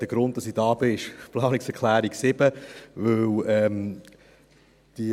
Der Grund, weshalb ich hier am Rednerpult bin, ist die Planungserklärung 7.